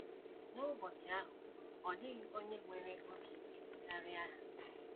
N’ụbọchị ahụ, ọ dịghị onye nwere obi ike karịa ha. ”